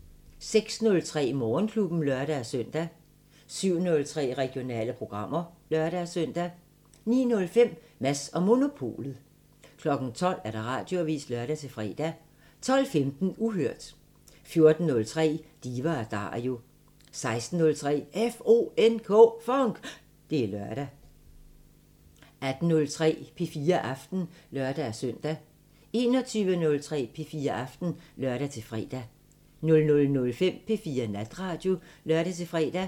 06:03: Morgenklubben (lør-søn) 07:03: Regionale programmer (lør-søn) 09:05: Mads & Monopolet 12:00: Radioavisen (lør-fre) 12:15: Uhørt 14:03: Diva & Dario 16:03: FONK! Det er lørdag 18:03: P4 Aften (lør-søn) 21:03: P4 Aften (lør-fre) 00:05: P4 Natradio (lør-fre)